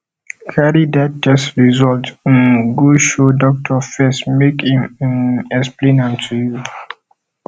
cari dat test result um go show dokitor first make em um explain am to you